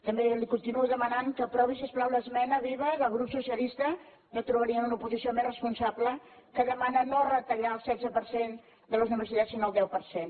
també li continuo demanant que aprovi si us plau l’esmena viva del grup socialista no trobarien una oposició més responsable que demana no retallar el setze per cent de les universitats sinó el deu per cent